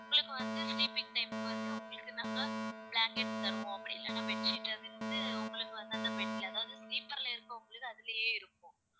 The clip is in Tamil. உங்களுக்கு வந்து sleeping time க்கு வந்து, உங்களுக்கு நாங்க blocket தருவோம். அப்படி இல்லைன்னா bed sheet அது வந்து, உங்களுக்கு வந்து, அந்தந்த bed ல, அதாவது sleeper ல இருக்கவங்களுக்கு அதிலேயே இருக்கும்